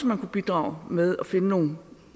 man kunne bidrage med at finde nogle